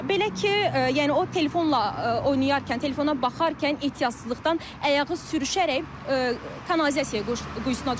Belə ki, yəni o telefonla oynayarkən, telefona baxarkən ehtiyatsızlıqdan ayağı sürüşərək kanalizasiya quyusuna düşüb.